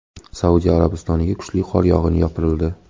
Saudiya Arabistoniga kuchli qor yog‘ini yopirildi .